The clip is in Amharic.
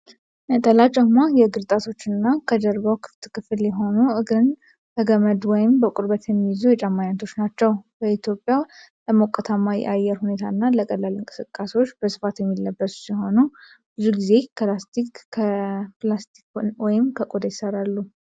ነጠላ ጫማ የእግር ጣቶችና የጀርባው ክፍል ክፍት የሆኑ፣ እግርን በገመድ ወይም በቁርበት የሚይዙ የጫማ ዓይነቶች ናቸው። በኢትዮጵያ ለሞቃታማ የአየር ሁኔታ እና ለቀላል እንቅስቃሴዎች በስፋት የሚለበሱ ሲሆን፣ ብዙ ጊዜ ከፕላስቲክ፣ ከላስቲክ ወይም ከቆዳ ይሠራሉ።